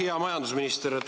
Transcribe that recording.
Hea majandusminister!